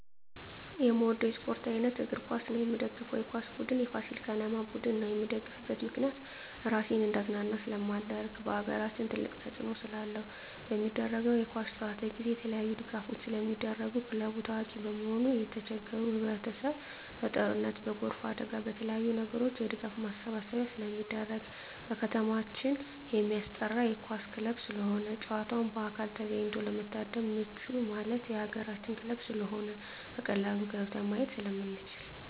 የምወደው የስፓርት አይነት እግር ኳስ ነው። የምደግፈው የኳስ ቡድን የፋሲል ከነማ ቡድን ነው። የምደግፍበት ምክንያት ራሴን እንዳዝናና ስለማደርግ በአገራችን ትልቅ ተፅዕኖ ስላለው። በሚደረገው የኳስ ጨዋታ ጊዜ የተለያዪ ድጋፎች ስለሚደረጉ ክለቡ ታዋቂ በመሆኑ የተቸገሩ ህብረቸሰብ በጦርነት በጎርፍ አደጋ በተለያዪ ነገሮች የድጋፍ ማሰባሰቢያ ስለሚደረግ። በከተማችን የማስጠራ የኳስ ክለብ ስለሆነ ጨዋታውን በአካል ተገኝቶ ለመታደም ምቹ ማለት የአገራችን ክለብ ስለሆነ በቀላሉ ገብተን ማየት ስለምንችል።